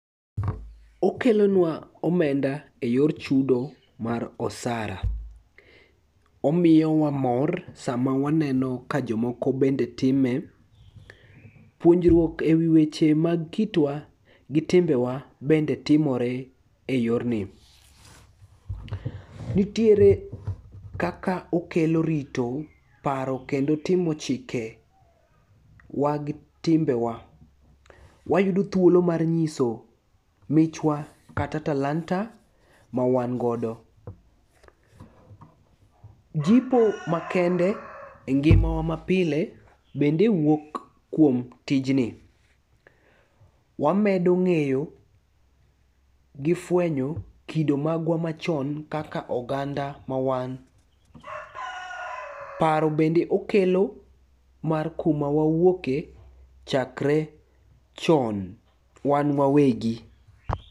Okelonwa omenda e yor chudo mar osara. Omiyowa mor sama waneno ka jomoko bende time, puonjruok e wi weche mag kitwa gi timbewa bende timore e yorni. Nitiere kaka okelo rito paro kendo timo chikewa gi timbewa. Wayudo thuolo mar nyiso michwa kata talanta ma wangodo. Jipo makende e ngimawa mapile bende wuok kuom tijni. Wamedo ng'eyo gi fwenyo kido magwa machon kaka oganda ma wan, paro bende okelo mar kuma wawuoke chakre chon wan wawegi.